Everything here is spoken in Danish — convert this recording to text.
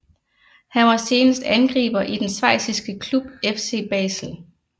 Han var senest angriber i den schweiziske klub FC Basel